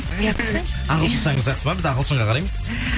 ағылшыншаңыз жақсы ма біз ағылшынға қараймыз